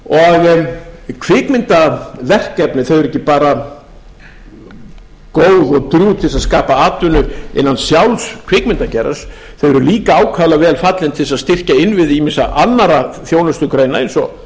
og kvikmyndaverkefni eru ekki bara góð og drjúg til að skapa atvinnu innan sjálfs kvikmyndageirans þau eru líka ákaflega vel fallin til þess að styrkja innviði ýmissa annarra þjónustugreina eins og